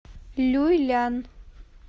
люйлян